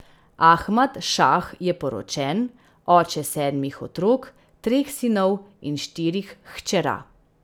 Ahmad Šah je poročen, oče sedmih otrok, treh sinov in štirih hčera.